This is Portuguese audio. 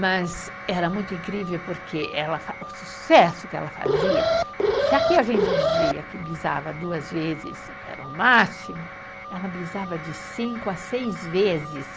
Mas era muito incrível porque ela fa, o sucesso que ela fazia, se aqui a gente dizia que pisava duas vezes e era o máximo, ela pisava de cinco a seis vezes.